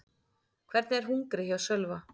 Hvernig er hungrið hjá Sölva?